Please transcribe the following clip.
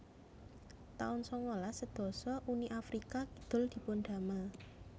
taun sangalas sedasa Uni Afrika Kidul dipundamel